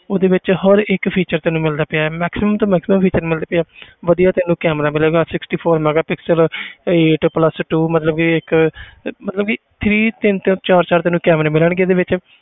ਉਹਦੇ ਵਿੱਚ ਹਰ ਇੱਕ feature ਤੈਨੂੰ ਮਿਲਦਾ ਪਿਆ ਹੈ maximum ਤੋਂ maximum feature ਮਿਲਦੇ ਪਏ ਆ ਵਧੀਆ ਤੈਨੂੰ camera ਮਿਲੇਗਾ sixty four megapixel eight plus two ਮਤਲਬ ਇੱਕ ਮਤਲਬ ਵੀ three ਤਿੰਨ ਤਿੰਨ ਚਾਰ ਚਾਰ ਤੈਨੂੰ camera ਮਿਲਣਗੇ ਇਹਦੇ ਵਿੱਚ